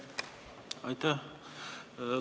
Aitäh!